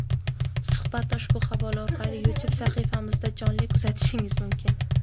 Suhbatni ushbu havola orqali YouTube sahifamizda jonli kuzatishingiz mumkin!.